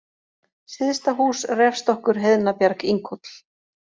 Syðstahús, Refstokkur, Heiðnabjarg, Inghóll